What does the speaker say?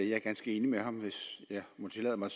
jeg er ganske enig med ham hvis jeg må tillade mig